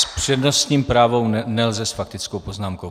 S přednostním právem - nelze s faktickou poznámkou.